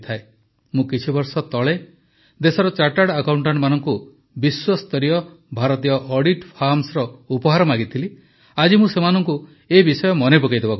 ମୁଁ କିଛିବର୍ଷ ତଳେ ଦେଶର ଚାର୍ଟାର୍ଡ ଆକାଉଂଟାଂଟମାନଙ୍କୁ ବିଶ୍ୱସ୍ତରୀୟ ଭାରତୀୟ ଅଡିଟ୍ ଫାର୍ମସ୍ ଉପହାର ମାଗିଥିଲି ଆଜି ମୁଁ ସେମାନଙ୍କୁ ଏ ବିଷୟ ମନେ ପକାଇଦେବାକୁ ଚାହୁଁଛି